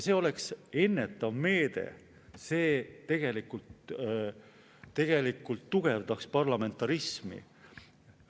See oleks ennetav meede, see tugevdaks parlamentarismi.